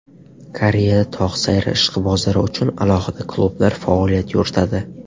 Koreyada tog‘ sayri ishqibozlari uchun alohida klublar faoliyat yuritadi.